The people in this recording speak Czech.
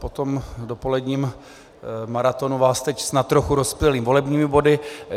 Po tom dopoledním maratonu vás teď snad trochu rozptýlím volebními body.